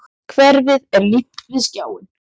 Hverfið er límt við skjáinn.